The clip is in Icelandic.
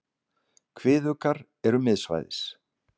Kviðuggar eru miðsvæðis.